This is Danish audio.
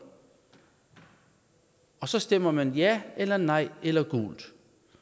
og så stemmer man ja eller nej eller gult